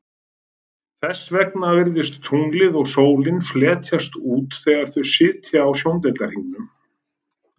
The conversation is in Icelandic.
Þess vegna virðast tunglið og sólin fletjast út þegar þau sitja á sjóndeildarhringnum.